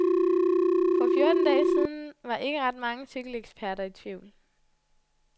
For fjorten dage siden var ikke ret mange cykeleksperter i tvivl.